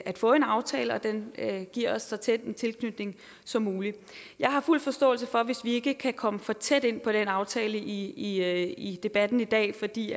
at få en aftale og at den giver os så tæt en tilknytning som muligt jeg har fuld forståelse for det hvis vi ikke kan komme for tæt ind på den aftale i i debatten i dag fordi